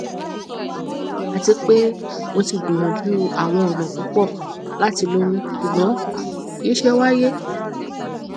ati pe mo ti gbiyanju awọn ọna pupọ lati loyun ṣugbọn kii ṣe waye